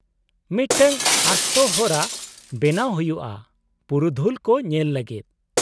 -ᱢᱤᱫᱴᱟᱝ ᱟᱥᱛᱚ ᱦᱚᱨᱟ ᱵᱮᱱᱟᱣ ᱦᱩᱭᱩᱜᱼᱟ ᱯᱩᱨᱩᱫᱷᱩᱞ ᱠᱚ ᱧᱮᱞ ᱞᱟᱹᱜᱤᱫ ᱾